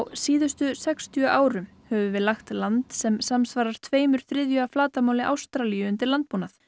síðustu sextíu árum höfum við lagt land sem samsvarar tveimur þriðju af flatarmáli Ástralíu undir landbúnað